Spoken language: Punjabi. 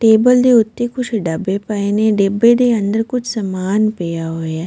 ਟੇਬਲ ਦੇ ਉੱਤੇ ਕੁੱਝ ਡੱਬੇ ਪਏ ਨੇ ਡੱਬੇ ਦੇ ਅੰਦਰ ਕੁੱਝ ਸਮਾਨ ਪਿਆ ਹੋਇਆ ਹੈ।